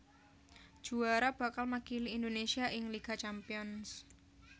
Juwara bakal makili Indonésia ing Liga Champions